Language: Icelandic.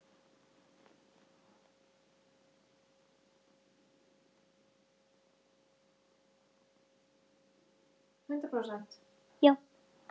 Þú ert bestur.